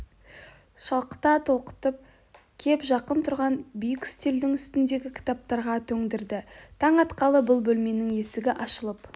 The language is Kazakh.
шалқыта толқытып кеп жақын тұрған биік үстелдің үстндегі кітаптарға төндірді таң атқалы бұл бөлменің есгі ашылып